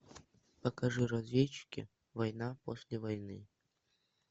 покажи разведчики война после войны